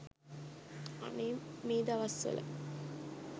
අනේ මේ දවස් වල